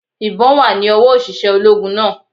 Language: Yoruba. Ìbón wà ní owó òṣìṣẹ́ ológun náà